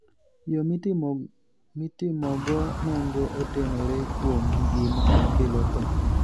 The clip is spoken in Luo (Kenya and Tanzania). Yo mitimogo nonro otenore kuom gima kelo tho.